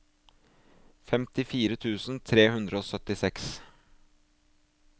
femtifire tusen tre hundre og syttiseks